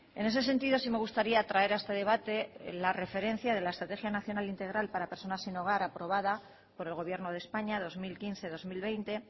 en ese sentido sí me gustaría traer a este debate la referencia de la estrategia nacional integral para personas sin hogar aprobada por el gobierno de españa dos mil quince dos mil veinte